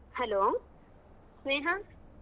Hello Sneha?